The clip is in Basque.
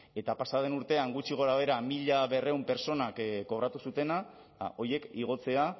eta pasa den urtean gutxi gorabehera mila berrehun pertsonak kobratu zutena horiek igotzea